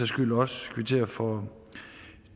skyld også kvittere for